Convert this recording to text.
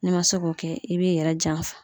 N'i ma se k'o kɛ i b'i yɛrɛ janfa.